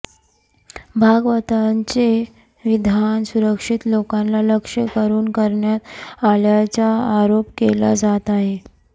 भागवतांचे विधान सुशिक्षित लोकांना लक्ष्य करून करण्यात आल्याचा आरोप केला जात आहे